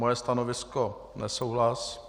Moje stanovisko nesouhlas.